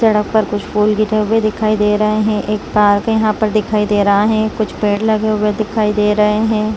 सड़क पर कुछ फूल गिरे हुए दिखाई दे रहा है एक पार्क यहाँ पर दिखाई दे रहा है कुछ पेड़ लगे हुए दिखाई दे रहे है ।